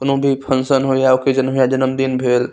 कोनो भी फंक्शन हो या ऑकेजन है जन्मदिन भेएल --